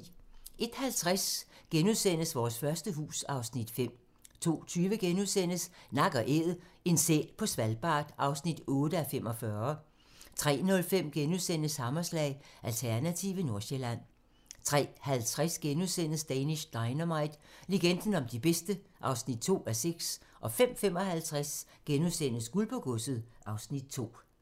01:50: Vores første hus (Afs. 5)* 02:20: Nak & Æd - en sæl på Svalbard (8:45)* 03:05: Hammerslag - Alternative Nordsjælland * 03:50: Danish Dynamite - legenden om de bedste (2:6)* 05:55: Guld på godset (Afs. 2)*